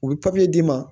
U bɛ d'i ma